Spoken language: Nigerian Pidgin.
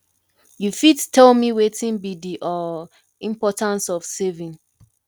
you fit tell me wetin be di um importance of saving